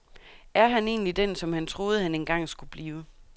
Er han egentlig den, som han troede, han engang skulle blive.